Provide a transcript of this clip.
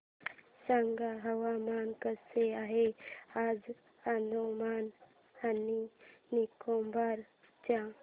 सांगा हवामान कसे आहे आज अंदमान आणि निकोबार चे